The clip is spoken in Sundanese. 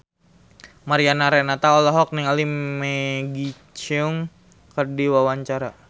Mariana Renata olohok ningali Maggie Cheung keur diwawancara